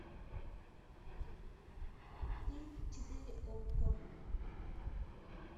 фильм четыре окко